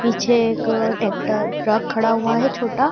पीछे एक tractor truck खड़ा हुआ है छोटा।